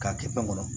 K'a kɛ fɛn kɔnɔ